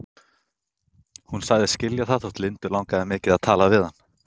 Hún sagðist skilja það þótt Lindu langaði mikið til að tala við hann.